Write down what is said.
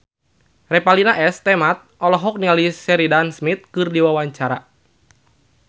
Revalina S. Temat olohok ningali Sheridan Smith keur diwawancara